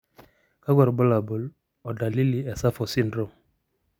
kakwa irbulabol o dalili e SAPHO syndrome?